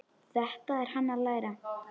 Þetta er hann að læra!